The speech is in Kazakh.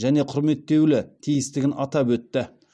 және құрметтеулі тиістігін атап өтті